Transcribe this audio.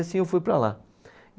E assim eu fui para lá.